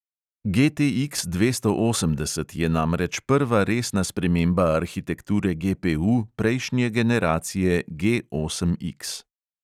GTX dvesto osemdeset je namreč prva resna sprememba arhitekture GPU prejšnje generacije G osem X.